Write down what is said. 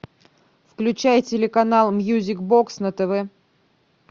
включай телеканал мьюзик бокс на тв